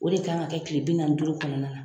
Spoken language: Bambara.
O de ka kan ka kɛ kile bi nanni duuru kɔnɔ na